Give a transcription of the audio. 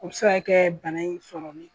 Muso ya kɛ bana in sɔrɔli